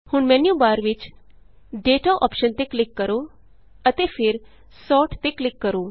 ਹੁਣ ਮੈਨਯੂਬਾਰ ਵਿਚ Dataਅੋਪਸ਼ਨ ਤੇ ਕਲਿਕ ਕਰੋ ਅਤੇ ਫਿਰ Sortਤੇ ਕਲਿਕ ਕਰੋ